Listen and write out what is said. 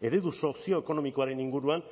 eredu sozioekonomikoaren inguruan